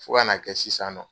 Fɔ kan'a kɛ sisan nɔ